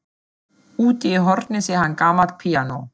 Úti í horni sér hann gamalt píanó.